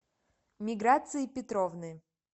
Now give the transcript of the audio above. миграции петровны